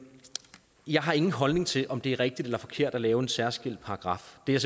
jeg har ingen holdning til om det er rigtigt eller forkert at lave en særskilt paragraf det er